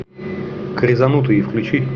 крезанутые включи